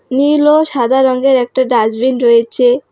নীল ও সাদা রঙ্গের একটা ডাস্টবিন রয়েছে।